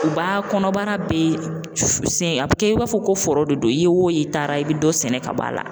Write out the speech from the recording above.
U b'a kɔnɔbara bɛ sen a bɛ kɛ i b'a fɔ ko foro de don i ye o i taara i bɛ dɔ sɛnɛ ka bɔ a la